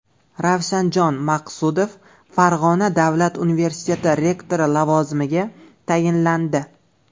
Ravshanjon Maqsudov Farg‘ona davlat universiteti rektori lavozimiga tayinlandi.